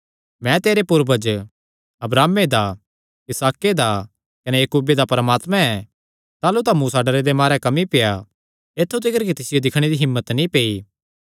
मैं तेरे पूर्वज अब्राहमे दा इसहाके दा कने याकूबे दा परमात्मा ऐ ताह़लू तां मूसा डरे दे मारे कम्बी पेआ ऐत्थु तिकर कि तिसियो दिक्खणे दी हिम्मत नीं पेई